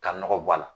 Ka nɔgɔ bɔ a la